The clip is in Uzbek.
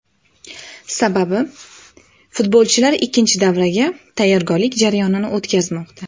Sababi, futbolchilar ikkinchi davraga tayyorgarlik jarayonini o‘tkazmoqda.